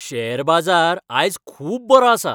Share बाजार आयज खूब बरो आसा.